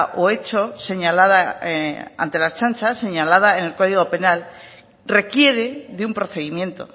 o hecho señalada ante la ertzaintza señalada en el código penal requiere de un procedimiento